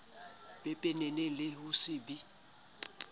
pepeneng le ho se be